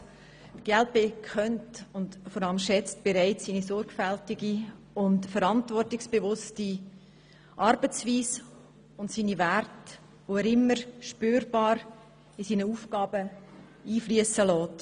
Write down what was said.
Die glp kennt und schätzt vor allem seine sorgfältige und verantwortungsbewusste Arbeitsweise und seine Werte, die er bei seinen Aufgaben immer spürbar einfliessen lässt.